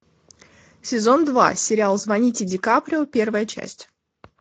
сезон два сериал звоните дикаприо первая часть